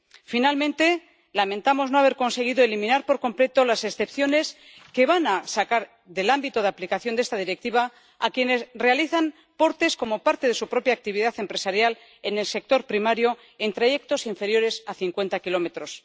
Finalmente, lamentamos no haber conseguido eliminar por completo las excepciones que van a sacar del ámbito de aplicación de esta Directiva a quienes realizan portes como parte de su propia actividad empresarial en el sector primario en trayectos inferiores a cincuenta kilómetros.